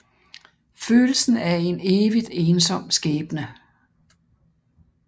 Følelsen af en evigt ensom skæbne